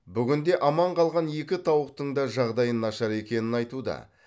бүгінде аман қалған екі тауықтың да жағдайы нашар екенін айтуда